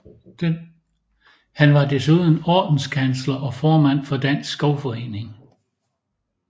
Han var desuden Ordenskansler og formand for Dansk Skovforening